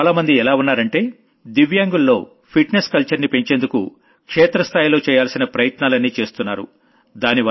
ఇవ్వాళ్ల చాలామంది ఎలా ఉన్నారంటే వికలాంగుల్లో ఫిట్ నెస్ కల్చర్ ని పెంచేందుకు క్షేత్ర స్థాయిలో చెయ్యాల్సిన ప్రయత్నాలన్నీ చేస్తున్నారు